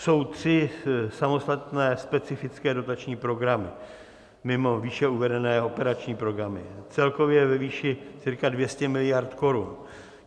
Jsou tři samostatné specifické dotační programy mimo výše uvedené operační programy, celkově ve výši cca 200 miliard korun.